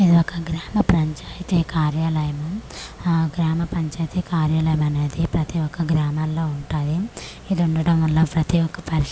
ఇది ఒక గ్రామ పంచాయతీ కార్యాలయము ఆ గ్రామ పంచాయతీ కార్యాలయము అనేది ప్రతి ఒక గ్రామలో ఉంటాది ఇది ఉండడం వల్ల ప్రతి ఒక పరిష్కారం అనేది వీ--